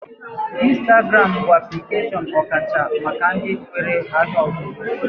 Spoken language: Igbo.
Ịnstagram bụ aplikeshọn ọkacha maka ndị nwee ahịa ọzụzụ